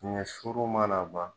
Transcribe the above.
Ɲɛ suru mana ban